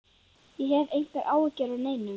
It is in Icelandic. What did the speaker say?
Ég hef engar áhyggjur af neinu.